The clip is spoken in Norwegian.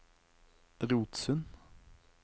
Rotsund